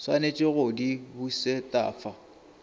swanetše go di bušet afa